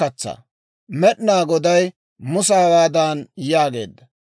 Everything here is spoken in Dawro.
Med'inaa Goday Musa hawaadan yaageedda;